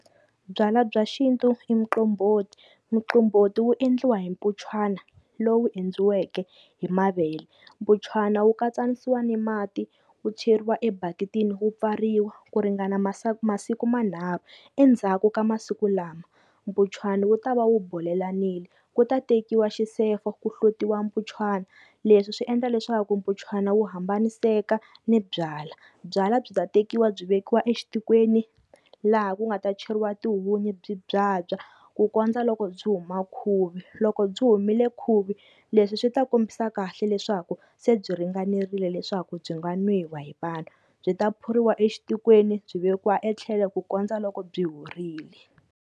Byalwa bya xintu i muqombhoti, muqombhoti wu endliwa hi mpunchwana lowu endliweke hi mavele, mpunchwana wu katsanisiwa ni mati wu cheriwa e bakitini wu pfariwa ku ringana masiku manharhu, endzhaku ka masiku lama mpunchwana wu ta va wu bolelanile ku ta tekiwa xisefo ku hlutiwa mpunchwana, leswi swi endla leswaku mpunchwana wu hambaniseka ni byalwa, byalwa byi ta tekiwa byi vekiwa exitikweni laha ku nga ta cheriwa tihunyi byi byabya ku kondza loko byi huma khuvi, loko byi humile khuvi leswi swi ta kombisa kahle leswaku se byi ringanerile leswaku byi nga nwiwa hi vanhu, byi ta phuriwa exitikweni byi vekiwa etlhelo ku kondza loko byi horile.